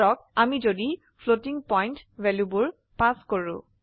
ধৰক আমি যদি ফ্লোটিং পইন্ট ভ্যালুবোৰ পাস কৰো